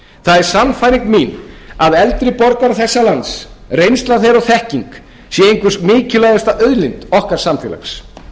það er sannfæring mín að eldri borgarar þessa lands reynsla þeirra og þekking sé einhver mikilvægasta auðlind okkar samfélags